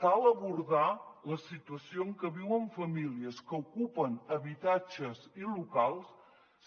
cal abordar la situació en que viuen famílies que ocupen habitatges i locals